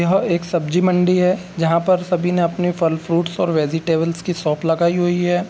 यह एक सब्जी मंडी है जहाँ पर सभी ने अपनी फल फ्रूटस और वेजिटेबलस की शॉप लगायी हुई है |